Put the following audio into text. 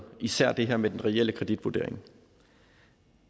især det her med den reelle kreditvurdering